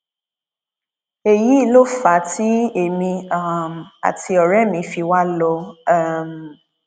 èyí ló fà á tí èmi um àti ọrẹ mi fi wá a lọ um